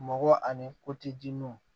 Mɔgɔ ani ko ti jinɛw